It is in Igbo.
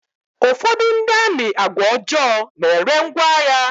Ụfọdụ ndị amị àgwà ọjọọ n'ere ngwá agha.